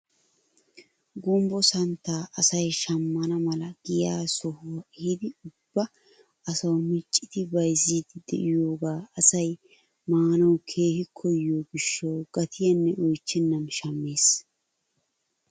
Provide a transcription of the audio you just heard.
Gumbbo santtaa asay shammana mala giyaa sohuwaa eehiidi ubba asawu miccidi bayzziidi de'iyoogaa asay maanawu keehi koyiyoo gishshawu gatiyaanne oychchenan shammees!